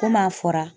Kom'a fɔra